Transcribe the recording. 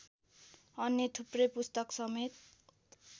अन्य थुप्रै पुस्तकसमेत